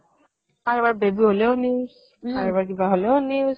কাৰোবাৰ baby হ'লেও news কাৰোবাৰ কিবা হ'লেও news